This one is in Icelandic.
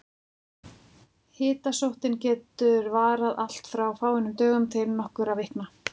Hitasóttin getur varað allt frá fáeinum dögum til nokkurra vikna.